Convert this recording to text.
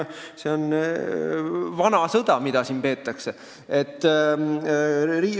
See on vana sõda, mida siin peetakse.